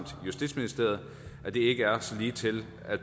justitsministeriet at det ikke er så ligetil at